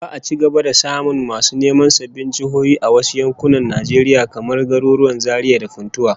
Za'a ci gaba da samun masu neman sabbin jihohi a wasu yankunan Najeriya, kamar garuruwan Zaria da Funtua